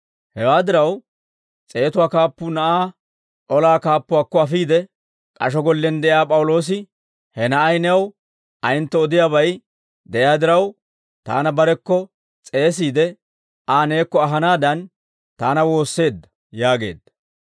Hewaa diraw, s'eetatuwaa kaappuu na'aa olaa kaappuwaakko afiide, «K'asho gollen de'iyaa P'awuloosi, ha na'ay new ayentto odiyaabay de'iyaa diraw, taana barekko s'eesiide, Aa neekko ahanaadan, taana woosseedda» yaageedda.